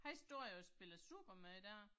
Han står jo og spiller supermand der